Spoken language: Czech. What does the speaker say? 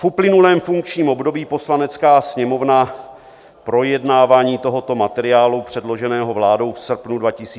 V uplynulém funkčním období Poslanecká sněmovna projednávání tohoto materiálu předloženého vládou v srpnu 2020 nezahájila.